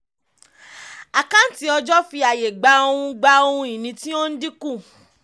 àkáǹtí ọjọ́ fi àyè gba ohun gba ohun ìní tí ń dínkù.